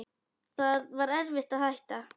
Það var erfitt að hætta.